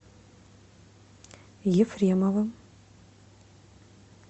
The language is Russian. ефремовым